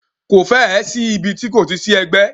Ko fẹ́ ẹ̀ sí ibi ti kò ti sí ẹgbẹ́.